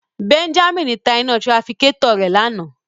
Benjamin ta ina tirafikatọ rẹ lana